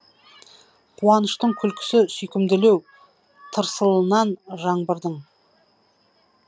қуаныштың күлкісі сүйкімділеу тырсылынан жаңбырдың